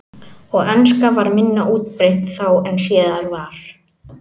Og enska var minna útbreidd þá en síðar varð.